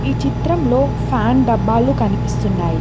ఈ చిత్రంలో ఫ్యాన్ డబ్బాలు కనిపిస్తున్నాయి.